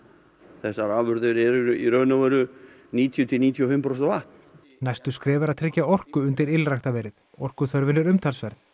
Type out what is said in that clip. þessar afurðir eru í raun og veru níutíu til níutíu og fimm prósent vatn næsta skref er að tryggja orku fyrir ylræktarverið orkuþörfin er umtalsverð